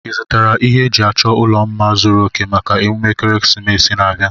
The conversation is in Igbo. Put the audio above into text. Ị zụtara ihe a ji achọ ụlọ mma zuru òkè maka emume ekeresimesi na-abịa?